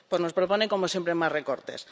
Pues nos propone, como siempre, más recortes.